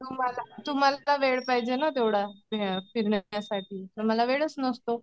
तुम्हाला तुम्हाला वेळ पाहिजे ना तेवढा. फिरण्यासाठी तुम्हाला वेळच नसतो.